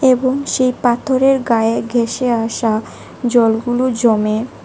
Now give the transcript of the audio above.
এবং সেই পাথরের গায়ে ঘেঁষে আসা জলগুলো জমে।